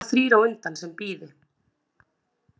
Það séu bara þrír á undan sem bíði.